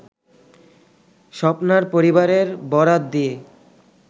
স্বপ্নার পরিবারের বরাত দিয়ে